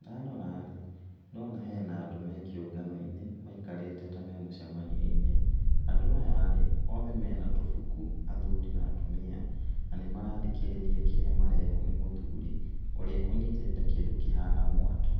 Ndarora rĩ ndĩrona hena andũ me kĩũngano-inĩ maikarĩte ta me mũcemanio-inĩ. Andũ aya rĩ, othe mena tũbuku, athuri na atumia, na nĩ marathikĩrĩria kĩrĩa marerwo nĩ mũthuri, ũrĩa ũnyitĩte kĩndũ kĩhana mwatũ.